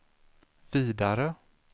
vidare